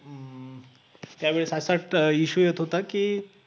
त्यावेळेस असं issue येत होता की